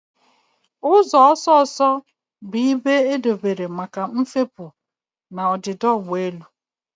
Ụzọ ọsọ ọsọ bụ ibe edobere maka mfepu na ọdịda ụgbọ elu.